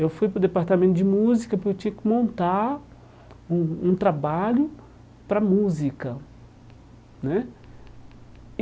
Eu fui para o Departamento de Música porque eu tinha que montar um um trabalho para Música né. E